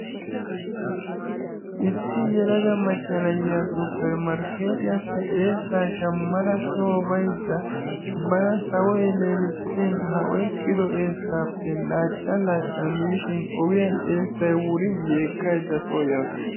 Issi yelaga macca na'iya supper markkeetiyappe eessaa shammada soo bayidda bana sawoy leelissin ha oyqqido eessaappe laacca laacca miishin ogiyan eessay wurin yeekkayidda soo yaasu.